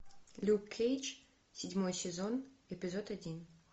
люк кейдж седьмой сезон эпизод один